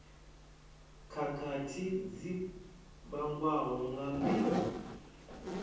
khakhathi dzi vhangwaho nga mbeu